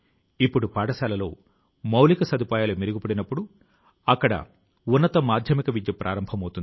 ప్రస్తుతం అధిక సంఖ్య లో విద్యార్థులు ఆ గ్రంథాలయం ప్రయోజనాల ను పొందడాన్ని చూసి ఆయన చాలా సంతోషం గా ఉన్నారు